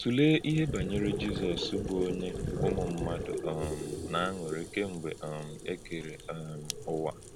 Tụ̀lee ihe banyere Jizọ́s, bụ́ onye hụrụ̀ ụmụ mmadụ um n’ànụ́rị́ kemgbe um e keré um Ụ́wa.